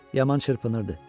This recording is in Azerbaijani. Yaman çırpınırdı.